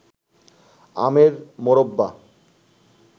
আমের মোরব্বা